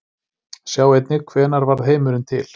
Sjá einnig Hvenær varð heimurinn til?